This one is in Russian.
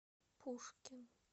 пушкин